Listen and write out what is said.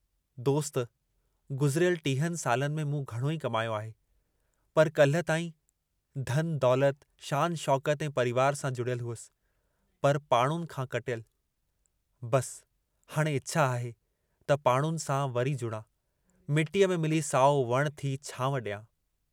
दोस्त गुज़िरियल टीहनि सालनि में मूं घणो ई कमायो आहे, पर काल्हि ताईं धन दौलत, शान शौकत ऐं परिवार सां जुड़ियल हुअसि, पर पाड़ुनि खां कटियल, बस हाणे इछा आहे त पाड़ुनि सां वरी जुड़ां, मिटीअ में मिली साओ वणु थी छांव ॾियां।